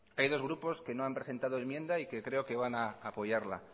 hay dos grupos que no han presentado enmienda y que creo que van a apoyarla